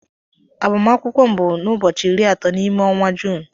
Agbamakwụkwọ m bụ n'ubochi iri atọ n'ime ọnwa Juun.